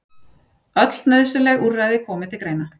Öll nauðsynleg úrræði komi til greina